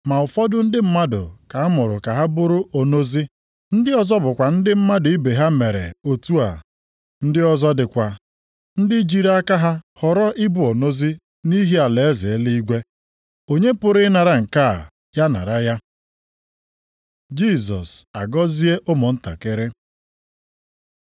Ma ụfọdụ ndị mmadụ ka a mụrụ ka ha bụrụ onozi, ndị ọzọ bụkwa ndị mmadụ ibe ha mere otu a. Ndị ọzọ dịkwa ndị jiri aka ha họrọ ibu onozi + 19:12 Nke a bụ ọnọdụ alụghị di maọbụ nwunye nke mmadụ kpebiri nʼonwe ya. nʼihi alaeze eluigwe. Onye pụrụ ịnara nke a, ya nara ya.” Jisọs agọzie ụmụntakịrị